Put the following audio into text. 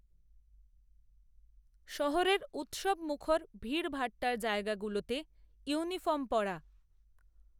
শহরের উত্সবমুখর ভিড়ভাট্টার জায়গা গুলোতে, ইউনিফর্ম পরা